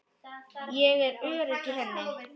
Ég er örugg í henni.